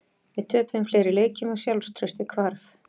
Við töpuðum fleiri leikjum og sjálfstraustið hvarf.